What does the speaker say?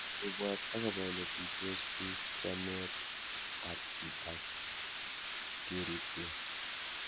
Ipwat akopo ole tuitos pik ,chamet ab kei ak keripkei